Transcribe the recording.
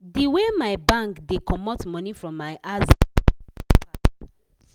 the way my bank dey comot money from my aza i just dey para